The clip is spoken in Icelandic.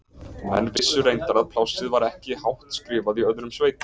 Menn vissu reyndar að plássið var ekki hátt skrifað í öðrum sveitum.